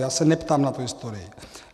Já se neptám na tu historii.